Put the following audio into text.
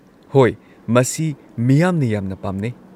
ꯍꯣꯏ, ꯃꯁꯤ ꯃꯤꯌꯥꯝꯅ ꯌꯥꯝꯅ ꯄꯥꯝꯅꯩ꯫